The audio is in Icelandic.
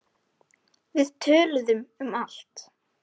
Við töluðum um allt.